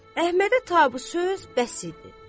Əhmədə ta bu söz bəs idi.